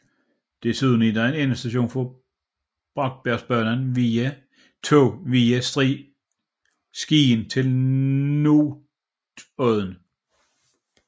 Desuden er den endestation for Bratsbergbanens tog via Skien til Notodden